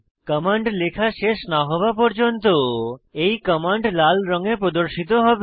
command লেখা শেষ না হওয়া পর্যন্ত এই কমান্ড লাল রঙে প্রদর্শিত হবে